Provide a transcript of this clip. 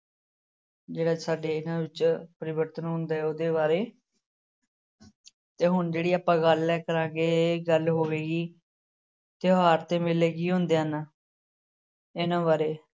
ਜਿਹੜਾ ਸਾਡੇ ਇਹਨਾਂ ਵਿੱਚ ਪਰਿਵਰਤਨ ਹੁੰਦੇ ਉਹਦੇ ਬਾਰੇ ਤੇ ਹੁਣ ਜਿਹੜੀ ਆਪਾਂ ਗੱਲ ਹੈ ਕਰਾਂਗੇ ਗੱਲ ਹੋਵੇਗੀ ਤਿਉਹਾਰ ਤੇ ਮੇਲੇ ਕੀ ਹੁੰਦੇ ਹਨ ਇਹਨਾਂ ਬਾਰੇ